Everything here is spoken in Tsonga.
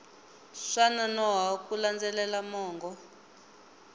swa nonoha ku landzelela mongo